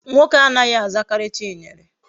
Nwoke anaghi azakari Chinyere